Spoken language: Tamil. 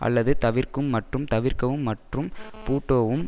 அல்லது தவிர்க்கும் மற்றும் தவிர்க்கவும் மற்றும் பூட்டோவும்